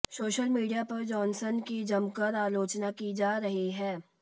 social media पर Johnson की जमकर आलोचना की जा रही है